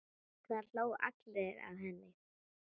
Það hlógu allir að henni.